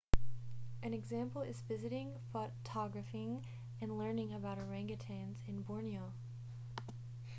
an example is visiting photographing and learning about organgatuangs in borneo